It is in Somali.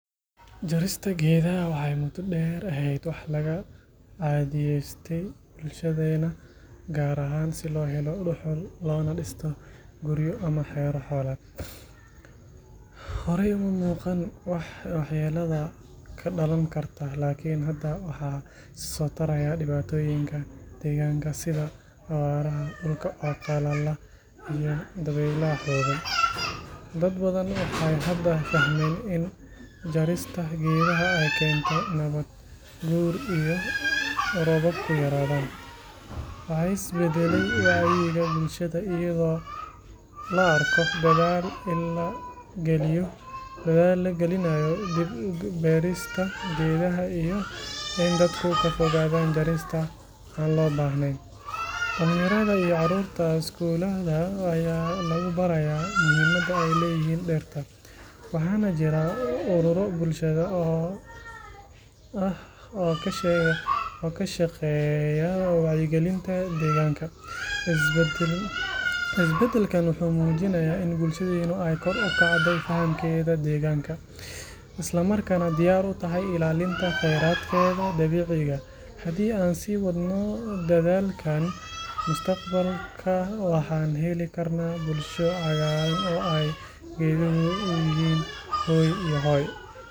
Jarista geedaha waxay muddo dheer ahayd wax laga caadiyeystay bulshadeena, gaar ahaan si loo helo dhuxul, loona dhisto guryo ama xero xoolaad. Horey uma muuqan waxyeelada ka dhalan karta, laakiin hadda waxaa isa soo taraya dhibaatooyinka deegaanka sida abaaraha, dhulka oo qallala, iyo dabeylaha xooggan. Dad badan waxay hadda fahmeen in jarista geedaha ay keento nabaad guur iyo in roobabku yaraadaan. Waxaa is beddelay wacyiga bulshada, iyadoo la arko dadaal la gelinayo dib u beerista geedaha iyo in dadku ka fogaadaan jarista aan loo baahnayn. Dhalinyarada iyo caruurta iskuulada ayaa lagu barayaa muhiimadda ay leeyihiin dhirta, waxaana jira ururo bulshada ah oo ka shaqeeya wacyigelinta deegaanka. Isbedelkan wuxuu muujinayaa in bulshadeenu ay kor u kacday fahamkeeda deegaanka, islamarkaana diyaar u tahay ilaalinta khayraadkeeda dabiiciga ah. Haddii aan sii wadno dadaalkan, mustaqbalka waxaan heli karnaa bulsho cagaaran oo ay geeduhu u yihiin hooy iyo hoy.